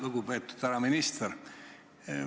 Lugupeetud härra minister!